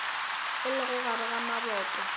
e lego gare ga maboto